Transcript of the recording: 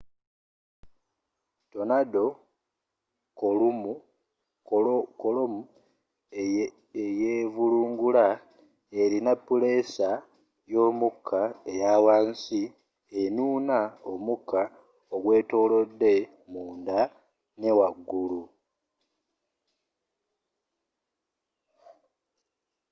tornado kolomu eyevulungula erina pulesa yomuka eya wansi enuuna omuka ogwetolodde munda ne wagulu